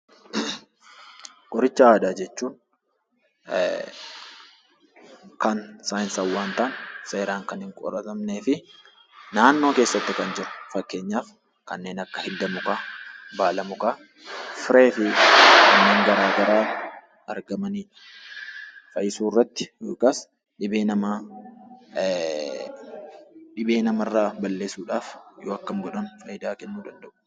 Qoricha aadaa jechuun kan saayinsawwaa hin taane, seeraan kan hin qoratamnee fi naannoo keessatti kan jiru. Fakkeenyaaf kanneen akka hidda mukaa, baala mukaa, firee fi wanneen garaa garaa argamanidha. Fayyisuu irratti yookaas dhibee namaa irraa balleessuudhaaf yoo akkam godhan nama fayidaa kennuu danda'u?